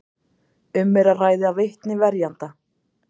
Um er að ræða vitni verjenda